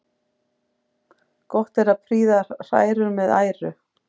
Gott er að prýða hrærur með æru.